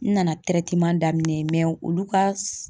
N nana daminɛ olu ka